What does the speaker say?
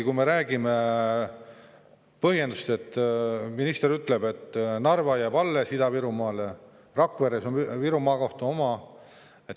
Kui me räägime põhjendusest, siis minister ütleb, et Narva jääb alles Ida-Virumaale ja Rakvere on ka Viru Maakohtu oma.